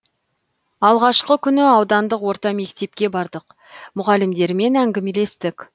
алғашқы күнді аудандық орта мектепке бардық мұғалімдерімен әңгімелестік